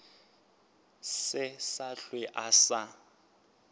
se sa hlwe a sa